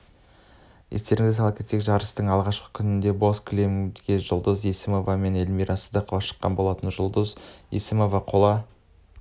естеріңізге сала кетсек жарыстың алғашқы күнінде боз кілемгежұлдыз есімова менэльмира сыздықова шыққан болатын жұлдыз есімова қола